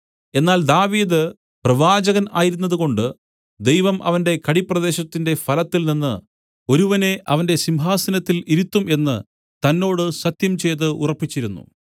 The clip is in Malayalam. എന്നാൽ ദാവീദ് പ്രവാചകൻ ആയിരുന്നതുകൊണ്ട് ദൈവം അവന്റെ കടിപ്രദേശത്തിന്റെ ഫലത്തിൽനിന്ന് ഒരുവനെ അവന്റെ സിംഹാസനത്തിൽ ഇരുത്തും എന്നു തന്നോട് സത്യംചെയ്തു ഉറപ്പിച്ചിരുന്നു